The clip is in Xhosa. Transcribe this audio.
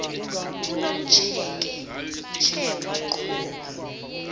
unomtsheke tshe waqhuba